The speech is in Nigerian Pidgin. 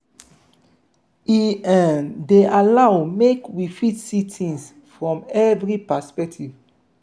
e um dey allow make we fit see things from every perspective